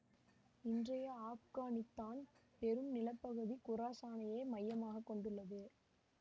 இன்றைய ஆப்கானித்தான் பெரும் நிலப்பகுதி குராசானையே மையமாக கொண்டுள்ளது